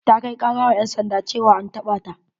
Ta kai kara wa ƴan sanda ceawa an taɓa ta.